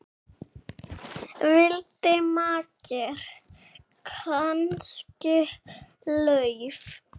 Vildi makker kannski LAUF?